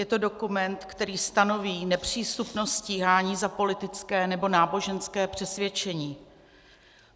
Je to dokument, který stanoví nepřístupnost stíhání za politické nebo náboženské přesvědčení.